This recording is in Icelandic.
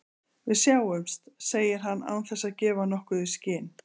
Við sjáumst, segir hann án þess að gefa nokkuð í skyn.